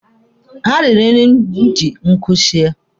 Ha riri nri m ji nkụ sie.